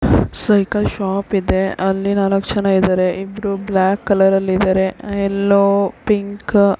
cycle shop ಇದೆ ಅಲ್ಲಿ ನಾಲ್ಕು ಜನ ಇದ್ದಾರೆ ಇಬ್ಬರು ಬ್ಲಾಕ್ ಕಲರ್ ಅಲ್ಲಿ ಇದ್ದರೆ ಎಲೋ ಪಿಂಕ್ --